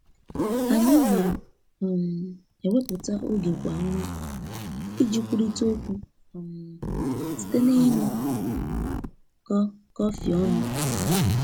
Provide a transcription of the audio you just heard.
Anyi na um eweputa oge kwa onwa, iji kwụrita okwu um site n'ịnụ kọ kọfi ọnụ.